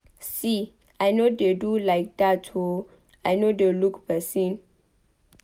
See I no dey do like dat oo I no dey look person.